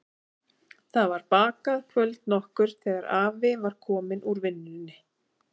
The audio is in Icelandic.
Það var bakað kvöld nokkurt þegar afi var kominn úr vinnunni.